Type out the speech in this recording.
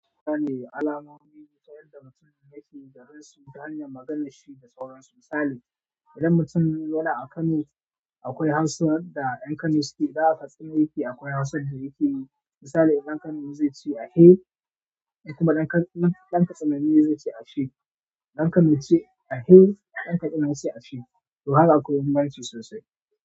Sana ne alamomi wayanda mutumin yake da ransu ta hanyar maganar shi da sauransu. Misali idan mutum yana kano akwai hausar da yan kano sukeda. Misali dan kano zaice ahe dan katsina zaice ashe.